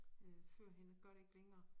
Øh førhen og gør det ikke længere